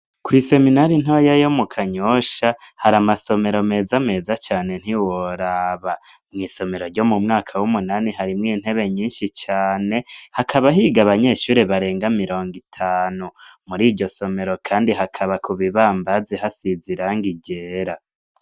Kw'i seminari ntoya yo mu Kanyosha, hari amasomero meza meza cane ntiworaba. Mw'isomero ryo mu mwaka w'umunani harimwo intebe nyinshi cane, hakaba higa abanyeshuri barenga mirongo itanu. Muri iryo somero kandi hakaba ku bibambazi hasize irangi ryera.